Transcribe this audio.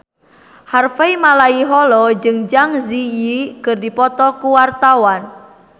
Harvey Malaiholo jeung Zang Zi Yi keur dipoto ku wartawan